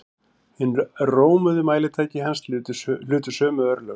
Hin rómuðu mælitæki hans hlutu sömu örlög.